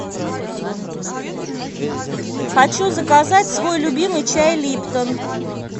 хочу заказать свой любимый чай липтон